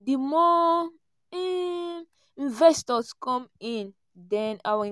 di more um investors come in den our."